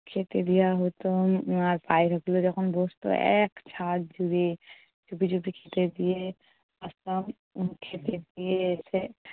খেতে দেয়া হতো। আহ আর পায়রাগুলো যখন বসত এক ছাদ জুড়ে। চুপি চুপি খেতে দিয়ে আসতাম উম খেতে দিয়ে এসে